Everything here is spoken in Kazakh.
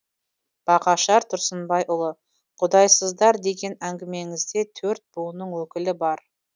бағашар тұрсынбайұлы құдайсыздар деген әңгімеңізде төрт буынның өкілі бар